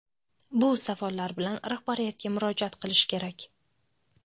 Bu savollar bilan rahbariyatga murojaat qilish kerak.